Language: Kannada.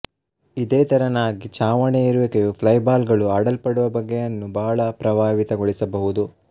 ಇದೇ ತೆರನಾಗಿ ಛಾವಣಿಯ ಇರುವಿಕೆಯು ಫ್ಲೈ ಬಾಲ್ ಗಳು ಆಡಲ್ಪಡುವ ಬಗೆಯನ್ನು ಬಹಳ ಪ್ರಭಾವಿತಗೊಳಿಸಬಹುದು